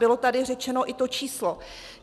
Bylo tady řečeno i to číslo.